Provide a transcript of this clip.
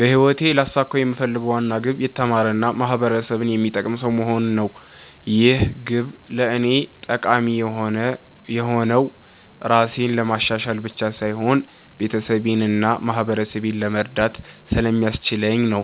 በህይወቴ ልያሳካው የምፈልገው ዋና ግብ የተማረ እና ማህበረሰብን የሚጠቅም ሰው መሆን ነው። ይህ ግብ ለእኔ ጠቃሚ የሆነው ራሴን ለማሻሻል ብቻ ሳይሆን ቤተሰቤን እና ማህበረሰቤን ለመርዳት ስለሚያስችለኝ ነው።